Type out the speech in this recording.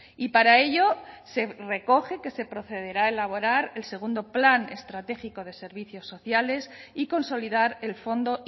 y para ello se recoge que se procederá a elaborar el segundo plan estratégico de servicios sociales y consolidar el fondo